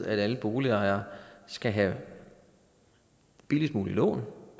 at alle boligejere skal have billigst mulige lån